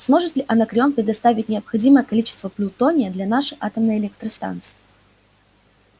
сможет ли анакреон предоставить необходимое количество плутония для нашей атомной электростанции